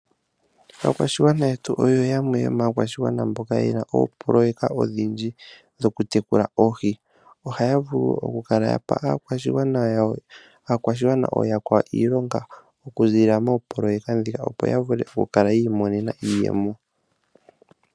Aakwashigwana yetu oyo yamwe yomaakwashigwana yena oopoloyeka odhindji shokutekula oohi. Ohaya vulu wo okupa aakwashigwana aakwawo okuza moopoloeka muka opo yavule okukala yiimonena iiyemo.